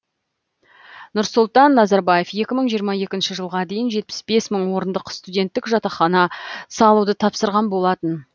нұрсұлтан назарбаев екі мың жиырма екінші жылға дейін жетпіс бес мың орындық студенттік жатақхана салуды тапсырған болатын